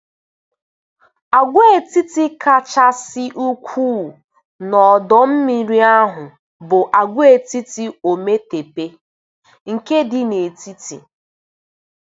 Agwaetiti kachasị ukwuu n'ọdọ mmiri ahụ bụ Agwaetiti Ometepe nke dị n'etiti.